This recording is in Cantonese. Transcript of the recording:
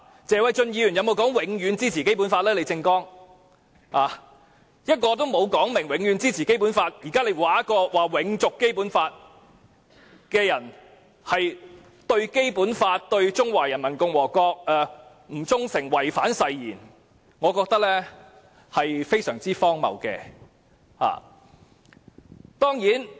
一個沒有表明會永遠支持《基本法》的人，如今竟指責一個要求永續《基本法》的人對《基本法》、對中華人民共和國不忠誠，違反誓言，我認為這是非常荒謬的。